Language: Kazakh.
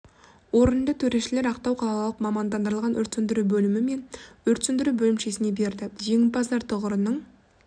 орынды төрешілер ақтау қалалық мамандандырылған өрт сөндіру бөлімі мен өрт сөндіру бөлімшесіне берді жеңімпаздар тұғырының